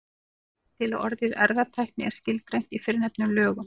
Svo vill til að orðið erfðatækni er skilgreint í fyrrnefndum lögum.